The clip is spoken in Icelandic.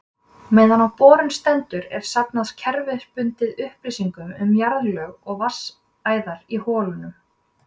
Meðan á borun stendur er safnað kerfisbundið upplýsingum um jarðlög og vatnsæðar í holunum.